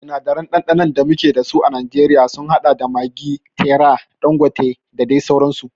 Sinadaran ɗanɗanon da muke dasu a najeriya sun haɗa da maggi, terra, ɗangote da dai sauransu